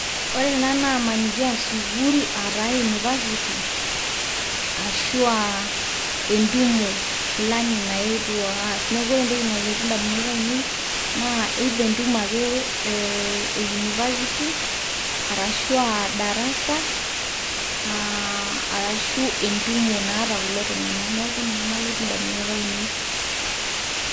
Ore ena naa amaniki a sukuul ataa university ashu a entumo fulani naetuo aas. Neeku ore entoki nalotu ndamunot ainei naa either entumo ake e university arashu aa darasa, aa arashu entumo naata kulo tung'anak. Neeku ninye nalotu ndamunot ainei.